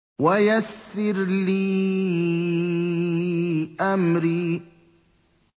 وَيَسِّرْ لِي أَمْرِي